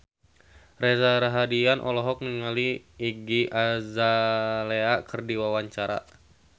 Reza Rahardian olohok ningali Iggy Azalea keur diwawancara